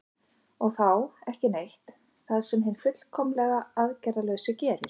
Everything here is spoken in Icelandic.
og þá „ekki neitt“ það sem hinn fullkomlega aðgerðalausi gerir